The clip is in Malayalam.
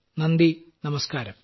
നന്ദി നമസ്ക്കാരം